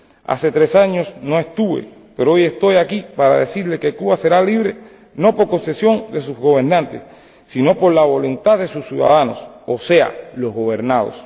Hace tres años no estuve, pero hoy estoy aquí para decirles que Cuba será libre, no por concesión de sus gobernantes, sino por voluntad de sus ciudadanos, o sea, los gobernados.